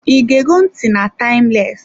I ge go ntị na "Timeless"